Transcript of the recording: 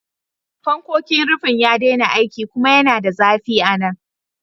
Fannonin rufin ya daina aiki kuma yana da zafi a nan.